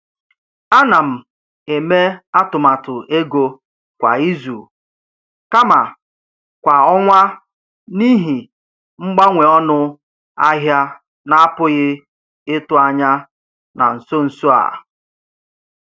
A na m eme atụmatụ ego kwa izu kama kwa ọnwa n’ihi mgbanwe ọnụ ahịa na-apụghị ịtụ anya na nso nso a.